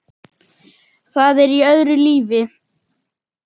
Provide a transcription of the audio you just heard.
Það er í öðru lífi.